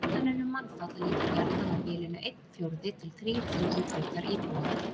Áætlanir um mannfall liggja gjarnan á bilinu einn fjórði til þrír fjórðu hlutar íbúa.